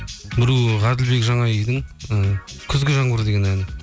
біреуі ғаділбек жанайдың і күзгі жаңбыр деген әні